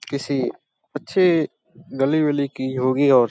किसी अच्छे गली वली की होगी और --